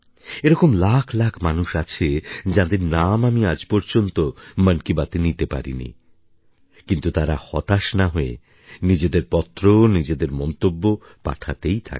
এরকম লাখ লাখ মানুষ আছে যাদের নাম আমি আজ পর্যন্ত মন কি বাতে নিতে পারিনি কিন্তু তারা হতাশ না হয়ে নিজেদের পত্র নিজেদের মন্তব্য পাঠাতেই থাকে